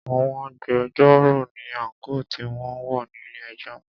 Àwọn agbẹjọ́rò ní àńkò tí wọn ń wọ̀ ní ilé ẹjọ́.